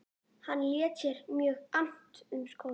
Hann lét sér mjög annt um skólann.